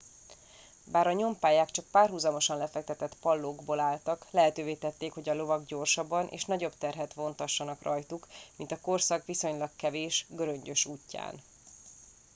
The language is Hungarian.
bár a nyompályák csak párhuzamosan lefektetett pallókból álltak lehetővé tették hogy a lovak gyorsabban és nagyobb terhet vontassanak rajtuk mint a korszak viszonylag kevés göröngyös útján